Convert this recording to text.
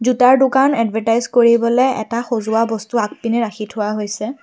জোতাৰ দোকান এডভাৰতাইছ কৰিবলৈ এটা সজোৱা বস্তু আগপিনে ৰাখি থোৱা হৈছে।